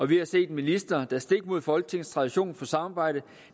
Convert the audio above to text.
vi har set en minister der stik mod folketingets tradition for samarbejde